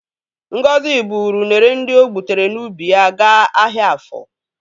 Ngozi bụrụ unere ndị o gbutere n'ubi ya ga ahịa afọ.